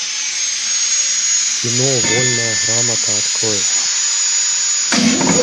кино вольная грамота открой